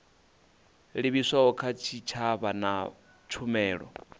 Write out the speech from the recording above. livhiswaho kha tshitshavha na tshumelo